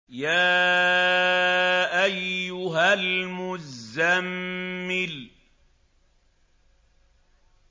يَا أَيُّهَا الْمُزَّمِّلُ